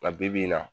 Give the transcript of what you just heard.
Nka bibi in na